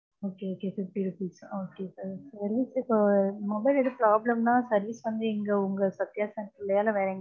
okay, okay, fifty rupees இப்ப mobile எது problem ன்னா, service வந்து, இங்க உங்க சத்யா center லயே இல்ல வேற எங்கையாவதா.